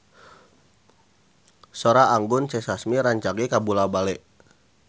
Sora Anggun C. Sasmi rancage kabula-bale